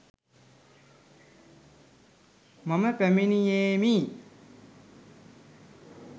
මම පැමිණියෙමි.